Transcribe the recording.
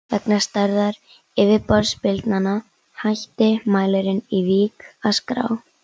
Vegna stærðar yfirborðsbylgnanna hætti mælirinn í Vík að skrá.